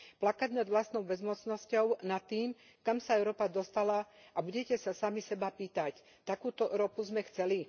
Plakať nad vlastnou bezmocnosťou, nad tým, kam sa Európa dostala, a budete sa sami seba pýtať takúto Európu sme chceli?